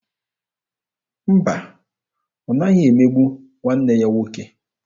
Mba, ọ naghị emegbu nwanne ya nwoke.